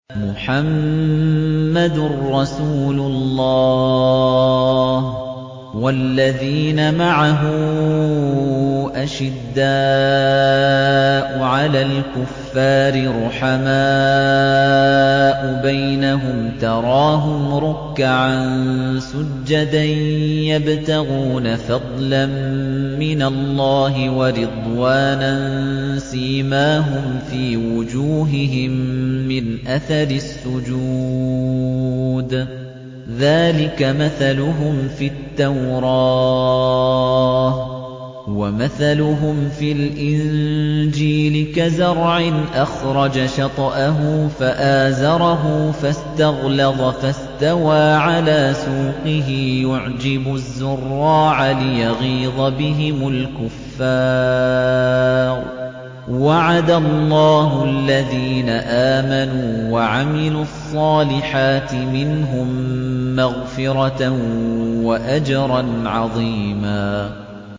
مُّحَمَّدٌ رَّسُولُ اللَّهِ ۚ وَالَّذِينَ مَعَهُ أَشِدَّاءُ عَلَى الْكُفَّارِ رُحَمَاءُ بَيْنَهُمْ ۖ تَرَاهُمْ رُكَّعًا سُجَّدًا يَبْتَغُونَ فَضْلًا مِّنَ اللَّهِ وَرِضْوَانًا ۖ سِيمَاهُمْ فِي وُجُوهِهِم مِّنْ أَثَرِ السُّجُودِ ۚ ذَٰلِكَ مَثَلُهُمْ فِي التَّوْرَاةِ ۚ وَمَثَلُهُمْ فِي الْإِنجِيلِ كَزَرْعٍ أَخْرَجَ شَطْأَهُ فَآزَرَهُ فَاسْتَغْلَظَ فَاسْتَوَىٰ عَلَىٰ سُوقِهِ يُعْجِبُ الزُّرَّاعَ لِيَغِيظَ بِهِمُ الْكُفَّارَ ۗ وَعَدَ اللَّهُ الَّذِينَ آمَنُوا وَعَمِلُوا الصَّالِحَاتِ مِنْهُم مَّغْفِرَةً وَأَجْرًا عَظِيمًا